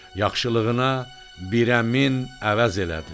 Yaxşılığına birə min əvəz elədi.